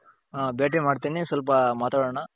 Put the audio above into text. ಹ ಭೇಟಿ ಮಾಡ್ತೀನಿ ಸ್ವಲ್ಪ ಮಾತಾಡಣ.